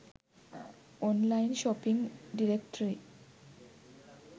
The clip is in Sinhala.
online shopping directory